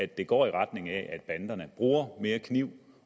det går i retning af at banderne bruger mere kniv